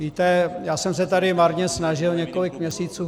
Víte, já jsem se tady marně snažil několik měsíců.